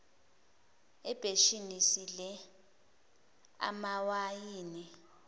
ebheshini sidle amawayini